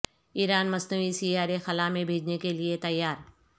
ایران مصنوعی سیارے خلا میں بھیجنے کے لیے تیار